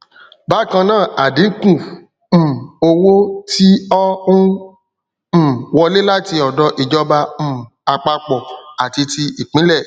bákannáà ádínkù um owó tí ọ n um wọlé láti ọdọ ìjọba um àpapọ àti tí ìpínlẹ